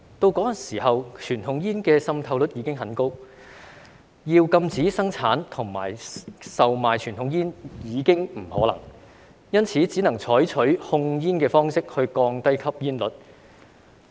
不過，當時傳統煙的滲透率已經很高，要禁止生產和售賣傳統煙已經不可能，因此只能採取控煙的方式降低吸煙率。